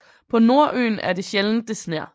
På Nordøen er det sjældent det sner